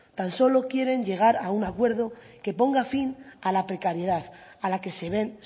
tan solo quieren llegar a un acuerdo que ponga fin a la precariedad a la que se ven